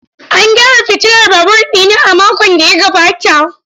An gyara fitilar babur ɗina a makon da ya gabata.